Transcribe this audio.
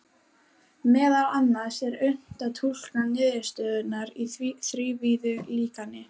Meðal annars er unnt að túlka niðurstöðurnar í þrívíðu líkani.